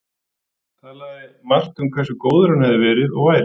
Talaði margt um hversu góður hann hefði verið- og væri